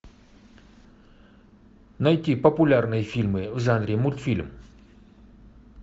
найти популярные фильмы в жанре мультфильм